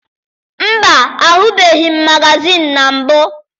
Mba, ahụbeghị m magazịịnụ na mbụ.